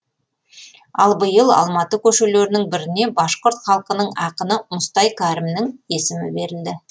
ал биыл алматы көшелерінің біріне башқұрт халқының ақыны мұстай кәрімнің есімі берілді